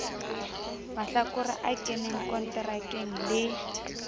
mahlakore a keneng konterakeng le